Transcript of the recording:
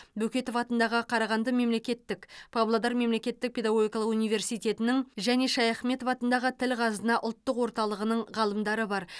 бөкетов атындағы қарағанды мемлекеттік павлодар мемлекеттік педагогикалық университетінің және шаяхметов атындағы тіл қазына ұлттық орталығының ғалымдары бар